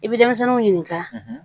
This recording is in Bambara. I bɛ denmisɛnninw ɲininka